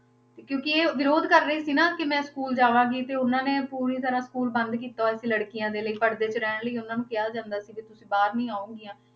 ਤੇ ਕਿਉਂਕਿ ਇਹ ਵਿਰੋਧ ਕਰ ਰਹੀ ਸੀ ਨਾ ਕਿ ਮੈਂ school ਜਾਵਾਂਗੀ ਤੇ ਉਹਨਾਂ ਨੇ ਪੂਰੀ ਤਰ੍ਹਾਂ school ਬੰਦ ਕੀਤਾ ਹੋਇਆ ਸੀ ਲੜਕੀਆਂ ਦੇ ਲਈ ਪੜਦੇ 'ਚ ਰਹਿਣ ਲਈ ਉਹਨਾਂ ਨੂੰ ਕਿਹਾ ਜਾਂਦਾ ਸੀ ਕਿ ਤੁਸੀਂ ਬਾਹਰ ਨਹੀਂ ਆਓਗੀਆਂ।